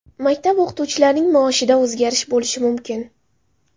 Maktab o‘qituvchilarining maoshida o‘zgarish bo‘lishi mumkin.